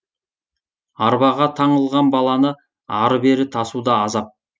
арбаға таңылған баланы ары бері тасу да азап